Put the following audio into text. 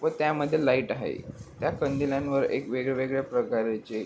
व त्यामध्ये लाइट आहे त्या कंदिलांवर एक वेगळ्यावेगळ्या प्रकारचे--